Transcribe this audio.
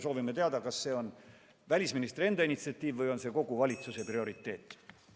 Soovime teada, kas see on välisministri enda initsiatiiv või on see kogu valitsuse prioriteet.